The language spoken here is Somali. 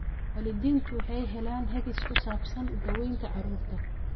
Waalidiintu waxay helaan hagis ku saabsan daawaynta carruurta.